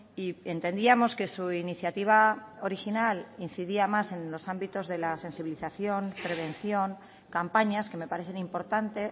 y entendíamos que su iniciativa original incidía más en los ámbitos de la sensibilización prevención campañas que me parecen importante